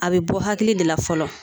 A be bɔ hakili de la fɔlɔ